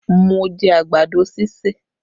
Mo jẹ àgbàdo ṣíṣè